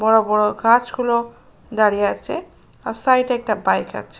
বড় বড় গাছ গুলো দাঁড়িয়ে আছে | আর সাইড -এ একটা বাইক আছে।